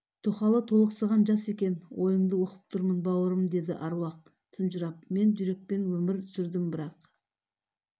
тоқалы толықсыған жас екен ойыңды оқып тұрмын бауырым деді аруақ тұнжырап мен жүрекпен өмір сүрдім бірақ